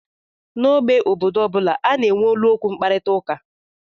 N'ógbè obodo ọ bụla, a na-enwe olu okwu mkparịta ụka